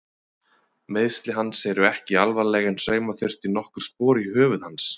Meiðsli hans eru ekki alvarleg en sauma þurfti nokkur spor í höfuð hans.